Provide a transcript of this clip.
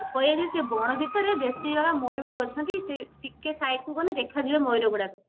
କହିବେ ଯେ ସେ ବଣ ଭିତରେ ମୟୁର ଅଛନ୍ତି ସେ ଟିକେ side କୁ ଗଲେ ଦେଖା ଯିବେ ମୟୁର ଗୁଡାକ